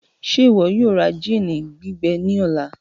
Ṣe iwọ yoo ra gin gbigbẹ ni ọla?